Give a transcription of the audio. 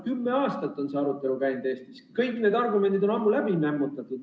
Kümme aastat on see arutelu Eestis käinud, kõik need argumendid on ammu läbi nämmutatud.